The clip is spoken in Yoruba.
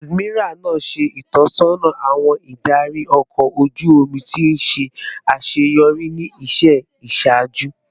Admiral naa ṣe itọsọna awọn idari ọkọ oju omi ti o ṣaṣeyọri ni iṣẹ iṣaaju